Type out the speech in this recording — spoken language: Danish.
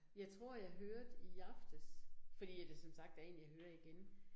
Jeg tror, jeg hørte i aftes fordi at det som sagt er 1 jeg hører igen